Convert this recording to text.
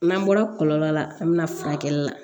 N'an bɔra kɔlɔlɔ la an bɛna furakɛlila